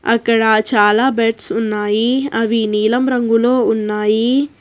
అ క్కడ చాలా బెడ్స్ ఉన్నాయి అవి నీలం రంగులో ఉన్నాయి.